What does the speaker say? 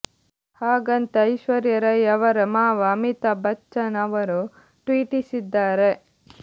ಹಾಗಂತ ಐಶ್ವರ್ಯ ರೈ ಅವರ ಮಾವ ಅಮಿತಾಬ್ ಬಚ್ಚನ್ ಅವರು ಟ್ವೀಟಿಸಿದ್ದಾರೆ